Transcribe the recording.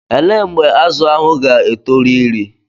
Elee mgbe azụ ahụ ga-etoru iri?